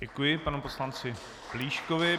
Děkuji panu poslanci Plíškovi.